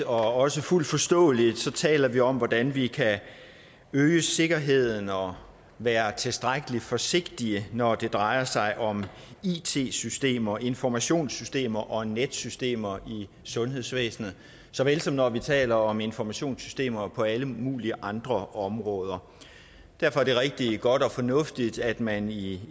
også fuldt forståeligt taler vi om hvordan vi kan øge sikkerheden og være tilstrækkelig forsigtige når det drejer sig om it systemer informationssystemer og netsystemer i sundhedsvæsenet såvel som når vi taler om informationssystemer på alle mulige andre områder derfor er det rigtig godt og fornuftigt at man i